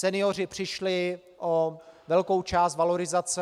Senioři přišli o velkou část valorizace.